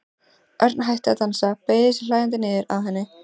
Örn hætti að dansa, beygði sig hlæjandi niður að henni.